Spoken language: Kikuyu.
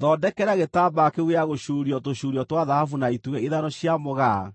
Thondekera gĩtambaya kĩu gĩa gũcuurio tũcuurio twa thahabu na itugĩ ithano cia mũgaa